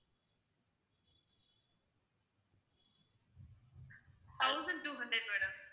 thousand two hundred madam